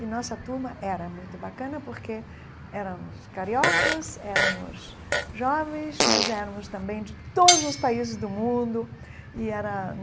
E a nossa turma era muito bacana porque éramos cariocas, éramos jovens, mas éramos também de todos os países do mundo e era.